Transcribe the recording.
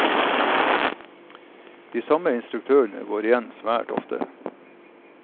De samme instruktørene går igjen svært ofte.